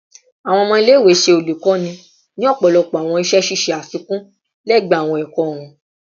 Awọn ọmọ ile-iwe ṣe olukoni ni ọpọlọpọ awọn iṣẹ ṣiṣe afikun lẹgbẹẹ awọn ẹkọ wọn